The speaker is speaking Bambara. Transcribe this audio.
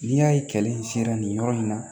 N'i y'a ye kɛlɛ in sera nin yɔrɔ in na